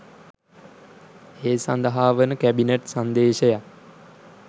ඒ සඳහා වන කැබිනට් සංදේශයක්